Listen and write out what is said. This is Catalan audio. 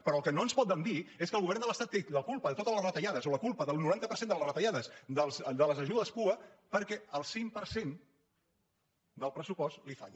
però el que no ens poden dir és que el govern de l’estat té la culpa de totes les retallades o la culpa del noranta per cent de les retallades de les ajudes pua perquè el cinc per cent del pressupost li falla